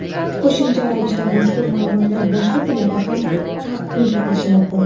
Qo‘shimcha ravishda mazkur maʼlumotlar boshqa tillarda ham taqdim etilishi mumkin.